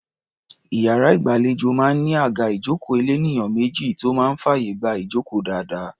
Iyàrá ìgbàlejò máa ń ní àga ìjókòó elénìyàn méjì tó máa ń fàyè gba ìjókòó dáadáa.